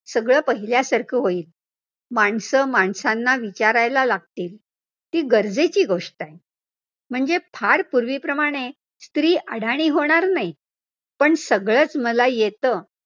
सगळं पहिल्यासारखं होईल, माणसं माणसांना विचारायला लागतील, ती गरजेची गोष्ट आहे म्हणजे फार पूर्वीप्रमाणे स्त्री अडाणी होणार नाही, पण सगळचं मला येतं.